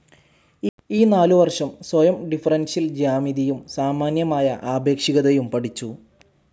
ഈ നാലു വർഷം സ്വയം, ഡിഫറൻഷ്യൽ ജ്യാമിതിയും സാമാന്യമായ ആപേക്ഷികതയും പഠിച്ചു.